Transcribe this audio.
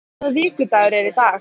Hásteinn, hvaða vikudagur er í dag?